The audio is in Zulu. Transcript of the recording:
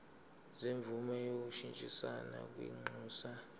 semvume yokushintshisana kwinxusa